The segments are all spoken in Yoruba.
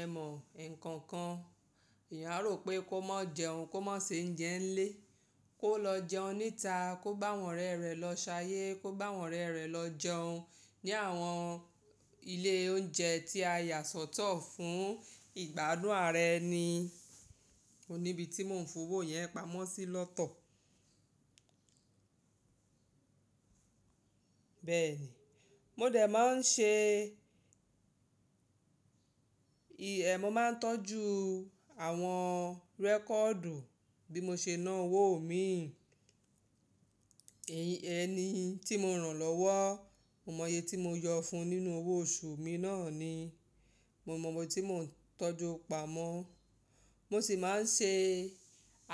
Ẹ mọ̀ ekookan, èèyàn a rò pé kó má jẹun, kó má se ounje nilé, kó lọ jẹun níta, kó gbàwọn ọ̀rẹ́ rẹ̀ lọ ṣayé, kó gbáwọn ọ̀rẹ́ rẹ̀ lọ jẹun ní àwọn ilé oúnjẹ tí a yà sọ́tọ̀ fún ìgbádùn ara ẹni. O níbi tí mò ń fowó iyẹn pamọ́ sí lọ́tọ̀. Bẹ́ẹ̀ ni, mo dẹ̀ máa ń ṣe, èé, mo máa ń tọ́jú àwọn rẹ́kọ̀du bí mo ṣe ná owó mi. Ẹni tí mo rán lọ́wọ́, mo mọ iye tí mo yọ fun nínú owó oṣù mi náà ni. Mo mọ owo tí mò ń tọ́jú pamọ́. Mo sì máa ń ṣe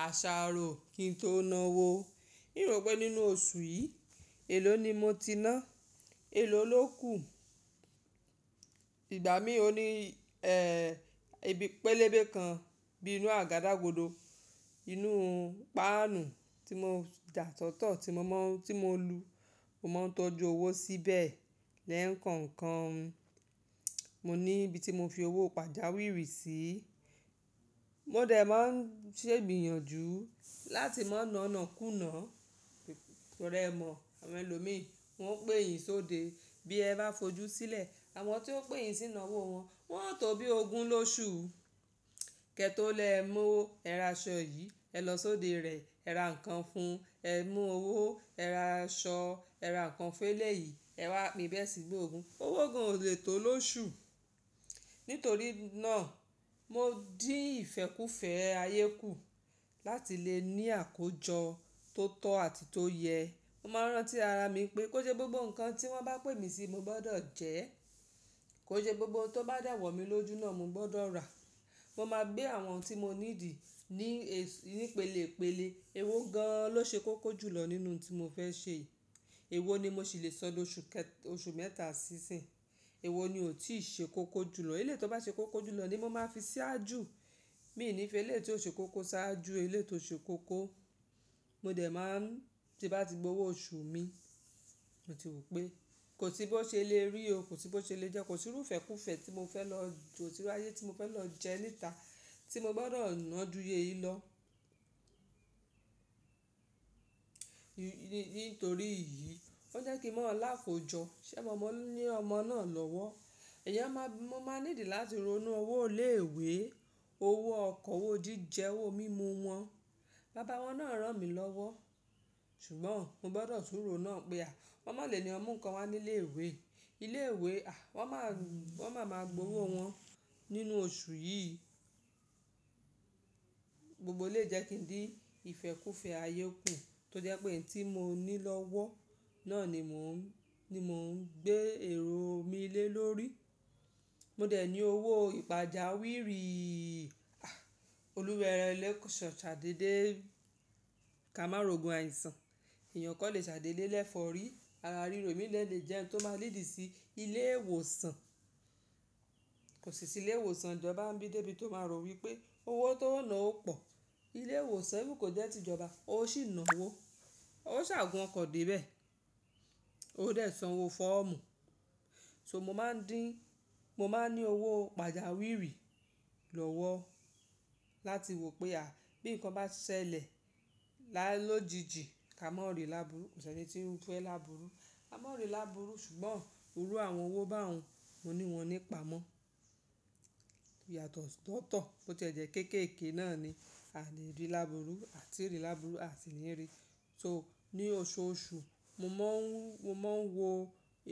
àṣàrò kí n tó nawó. N rò pé nínú oṣù yìí, èló ni mo ti ná, èló ló kù. Ìgbà mií ò ní, ẹ́, ibi pélébé kan bí inú àgadagòdo, inú páànù tí mo yà sọ́tọ̀, tí mo mọ̀ n, tí mo lu. Mo máa ń tọ́jú owó síbẹ̀ lẹ́kookan. Mo ní ibi tí mo fi owó pàjáwìrì sí. Mo dẹ̀ máa ń ṣegbiyànjú láti má nanàkùnà. Ẹ rẹ mọ̀, àwọn ẹlòmíi, wọ́n o pè yín sóde bí ẹ bá fojú sílẹ̀. Àwọn tí ó pè yín sí ináwó wọn, wọ́n ò tó bí ogún lóṣù. Kẹ́ tó lè mú ẹra aṣọ yìí, ẹ lọ sóde rẹ̀. Ẹ ra nǹkan fún, ẹ mú owó, ẹ ra aṣọ, ẹ ra nǹkan fún eléyìí, ẹ wá pín bẹ́ẹ̀ sígba ogun. Owó gan ò lè tó lóṣù. Nítorí náà, mo dín ìfẹ́kúfẹ̀ẹ́ ayé kù láti lè ní àkójọ tó tọ́ àti tó yẹ. Mo máa n rántí ara mi pé kó n sẹ́ gbogbo nǹkan tí wọ́n bá pè mí sí, mo gbọdọ̀ jẹ. Kó n sẹ́ gbogbo ohun tó bá de wọ̀ mí lójú náà, mo gbọdọ̀ rà. Mo máa gbé àwọn ohun tí mo need ní, ní pélépélé. Ewó gan-an ló ṣe kókó jùlọ nínú ohun tí mo fẹ́ ṣe yii. Ewó ni mo ṣì lè sọ doṣù kẹ-- oṣù mẹ́ta sí ìsìnyii. Ewó ni ò tíì ṣe kókó jùlọ. Eléyii tó bá ṣe kókó jùlọ ni mo máa fi ṣáájú. Mi i ní feléyii tí ó ṣe kókó ṣáájú eléyii tó ṣe kókó. Mo dẹ̀ máa ń, tí n bá ti gbowó oṣù mi, mo ti wò pé kò sí bó ṣe le rí o, kò sí bó ṣe le jẹ, kò sirú ìfẹ́kúfẹ̀ẹ́ tí mo fẹ́ lọ jò síwaye, tí mo fẹ́ lọ jẹ níta tí mo gbọdọ̀ nàá jú iye yìí lọ. Nítorí yìí, ó jẹ́ kí n mò lákójọ. Ṣé mo ní ọmọ náà lọ́wọ́? Ẹ̀yàn máa, mo máa need láti ronú owó ilé ìwé, owó ọkọ̀, owó jíjẹ, owó mímu wọn. Bàbá wọn náà rán mi lọ́wọ́. Ṣùgbọ́n mo gbọdọ̀ tún ro náà pé à, wọ́n má lè ní ọn mu ǹkan wa nílé ìwé. Ilé ìwé, à, wọ́n má, wọ́n má máa gbowó wọn nínú oṣù yìí. Gbogbo elèyii jẹ́ kí n dín ìfẹ́kúfẹ̀ẹ́ ayé kù tó jẹ́ pé ohun tí mo ní lọ́wọ́ náà ni mò ń, ni mò ń gbé èrò mi lé lórí. Mo dẹ̀ ní owó ìpàjáwìrì. A! Olúwa e lẹ́ ṣàidédé kà má rògùn àìsàn. Eeyàn kan lè ṣài déde lefọ́rí. Ara ríro imi dé lè jẹhun tó máa léad sí ilé ìwòsàn. Kò sì sí ilé ìwòsàn ìjọba ńibí débí tó ma rò wípé owó tó o nà ó pọ̀. Ilé ìwòsàn even kò jẹ́ tìjọba, ó sì nawó. Ó ṣàa gùn ọkọ̀ débẹ̀. Ó dẹ̀ sanwó fọ́ọ̀mù. So mo máa ń dín, mo máa ń ní owó pàjáwìrì lọ́wọ́ láti wò pé à, bí nǹkan bá ṣẹlẹ̀ lá lójijì, ká má ri lábùúrù. Kò sẹni tí ń fẹ́ lábùúrù. Ka má ri lábùúrù ṣùgbọ́n irú àwọn owó báun, mo ní wọn nípamọ́. Yàtọ̀ sọ́tọ̀, bó tie jẹ́ kéékèèké náà ni, a ni rí lábùúrù, a ti ì rí lábùúrù, a sì ní rí. So ní oṣooṣù, mo máa ń, mo máa ń wo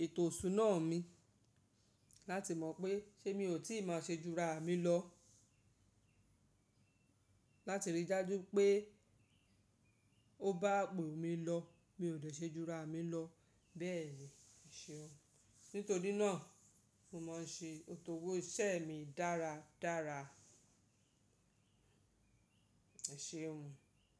ètò iṣùná mi láti mọ̀ pé ṣé mi ò tí ì máa ṣe júra mi lọ. Láti rí dáju pé ó bá ipò mí lọ, mi ò dè ṣe júra mi lọ. Bẹ́ẹ̀ e ṣeun. Nítorí náà, mo máa ń ṣe ètò owó iṣẹ́ mi dára dára. Ẹ ṣeun mi.